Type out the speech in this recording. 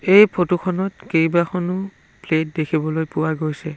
এই ফটো খনত কেইবাখনো প্লেট দেখিবলৈ পোৱা গৈছে।